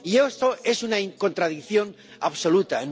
Esto es una contradicción absoluta.